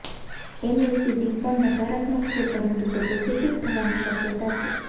MACD પણ નકારાત્મક છે પરંતુ તે પોઝિટિવ થવાની શક્યતા છે